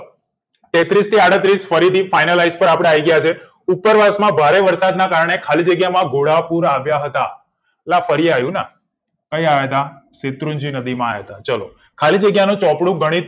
તેત્રીસ થી આડત્રીસ ફરીથી finalize પર આપડે આવી ગયા છીએ ઉતર વરસમાં ભારે વરસાદ ના કારણે ખાલી જગ્યામાં ગોવાળ પુર આવ્યા હતા એ આ ફરી આયુ નાં ક્યાં આયા તા પીતૃજીનક ભીમ આવ્યા હતા ચલો ખાલી જગ્યાનું ચોપડું ગણિત